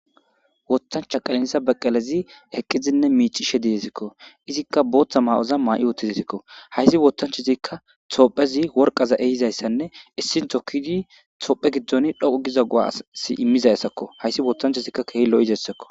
woththancha qenenisa beqqelezi heqqizinne miicishe didesikko. izikka booththa maa7oza maa7i uttizesikko. haysi woththanchozikka Tophphezi worqaza ehizayssanne issin tokkidi Tophphe giddon dhoqqu giza guaasi immizayssakko hayssi woothanchozikka keehi lo7izayssakko.